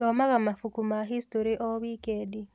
Thomaga mabuku ma hicitorĩ o wikendi.